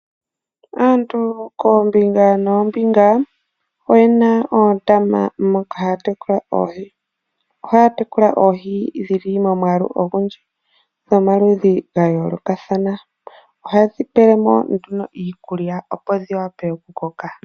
Aantu koombinga noombinga oyena oondama moka haya tekula oohi. Ohaya tekula oohi dhili momwaalu ogundji, dhomaludhi gayoolokathana. Ohaye dhipele mo nduno iikulya opo dhiwape okukoka.